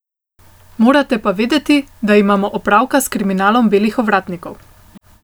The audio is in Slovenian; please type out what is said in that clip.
Morate pa vedeti, da imamo opravka s kriminalom belih ovratnikov.